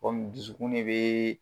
Kɔmi dusukun de bɛ.